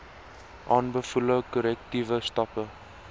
aanbevole korrektiewe stappe